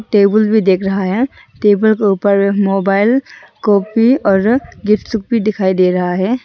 Table भी दिख रहा है टेबल के ऊपर मोबाइल कॉपी और गिफ्ट शिफ्ट भी दिखाई दे रहा है।